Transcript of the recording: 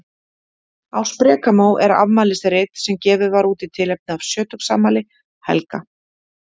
Á sprekamó er afmælisrit sem gefið var út í tilefni af sjötugsafmæli Helga.